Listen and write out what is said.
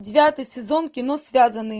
девятый сезон кино связанный